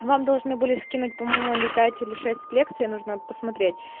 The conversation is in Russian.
вам должны были скинуть по-моему или пять или шесть лекций нужно посмотреть